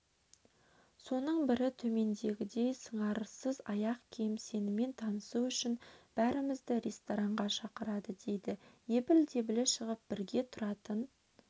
соның бірі төмендегідей сыңарсыз аяқ киім сенімен танысу үшін бәрімізді ресторанға шақырады дейді ебіл-дебілі шығып бірге тұратын